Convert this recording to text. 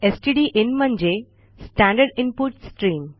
stdin म्हणजे standard input stream